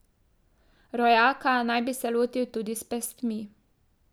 Rojaka naj bi se lotil tudi s pestmi.